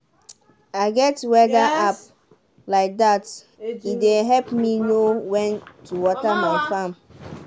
i get weather app like dat e dey help me know when to water my farm